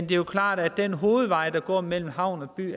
jo klart når den hovedvej der går mellem havn og by